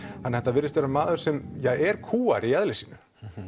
þannig að þetta virðist vera maður sem er kúgaður í eðli sínu